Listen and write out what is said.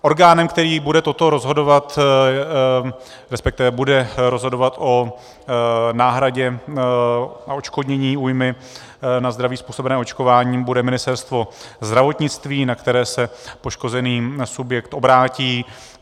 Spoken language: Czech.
Orgánem, který bude toto rozhodovat, respektive bude rozhodovat o náhradě a odškodnění újmy na zdraví způsobené očkováním, bude Ministerstvo zdravotnictví, na které se poškozený subjekt obrátí.